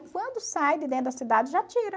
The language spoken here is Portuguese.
E quando sai de dentro da cidade, já tira.